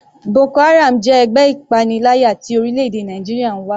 Boko haram jẹ́ ẹgbẹ́ ìpaniláyà tí orílẹ̀-èdè Nàìjíríà ń wá.